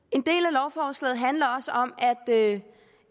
lovforslaget handler også om at